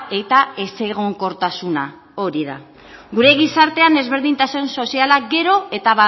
eta ezegonkortasuna hori da gure gizartean ezberdintasun soziala gero eta